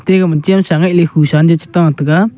ega ma chemsa yeh le khusa cheta tega.